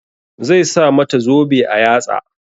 Zai sa mata zobe a yatsa.